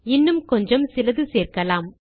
இன்னும் கொஞ்சம் சிலது சேர்க்கலாம்